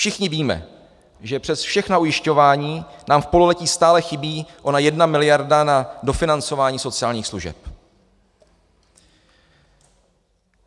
Všichni víme, že přes všechna ujišťování nám v pololetí stále chybí ona jedna miliarda na dofinancování sociálních služeb.